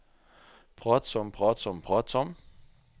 pratsom pratsom pratsom